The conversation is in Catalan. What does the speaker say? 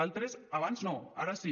altres abans no ara sí